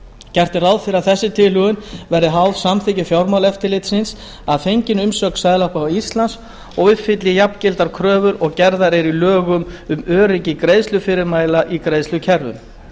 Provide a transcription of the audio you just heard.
gert er ráð fyrir því að þessi tilhögun verði háð samþykki fjármálaeftirlitsins að fenginni umsögn seðlabanka íslands og uppfylli jafngildar kröfur og gerðar eru í lögum um öryggi greiðslufyrirmæla í greiðslukerfum